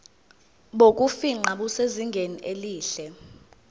bokufingqa busezingeni elihle